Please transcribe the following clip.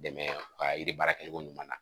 Dɛmɛ ka yiri baara kɛcogo ɲuman na